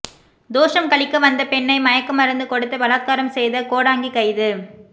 தோஷம் கழிக்க வந்த பெண்ணை மயக்கமருந்து கொடுத்து பலாத்காரம் செய்த கோடாங்கி கைது